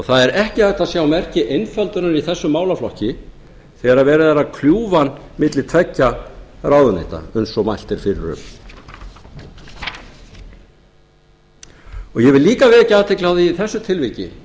það er ekki hægt að sjá merki einföldunar í þessum málaflokki þegar verið er að kljúfa hann milli tveggja ráðuneyta eins og mælt er fyrir um ég vil líka vekja athygli á því í þessu tilviki